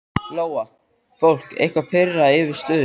Lóa: Fólk eitthvað pirrað yfir stöðunni?